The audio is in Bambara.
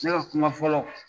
Cɛ ka kuma fɔlɔ.